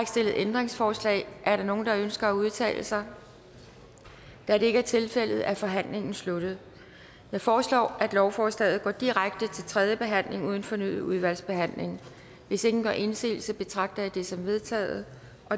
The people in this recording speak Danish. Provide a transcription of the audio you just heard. stillet ændringsforslag er der nogen der ønsker at udtale sig da det ikke er tilfældet er forhandlingen sluttet jeg foreslår at lovforslaget går direkte til tredje behandling uden fornyet udvalgsbehandling hvis ingen gør indsigelse betragter jeg det som vedtaget